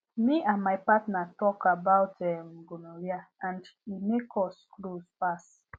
me and my partner talk about um gonorrhea and e make us close pass